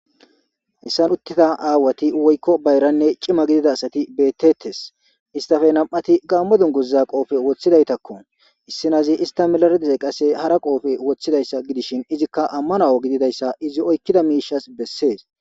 Hessan uttida aawati woykko bayranne cima gidida asati bettettes istafe nam'ati gaammo dunguzza qoofe woththidaytakko issinazi ista melaredze qasse hara qoofe woththidayssa gidishin izikka ammanawo gididayssa izi oykkida miishas bessees.